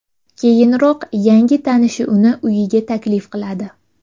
Keyinroq yangi tanishi uni uyiga taklif qiladi.